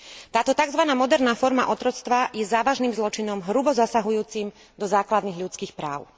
Táto tzv. moderná forma otroctva je závažným zločinom hrubo zasahujúcim do základných ľudských práv.